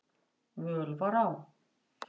völ var á.